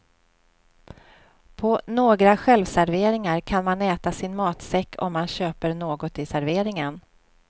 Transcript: På några självserveringar kan man äta sin matsäck om man köper något i serveringen.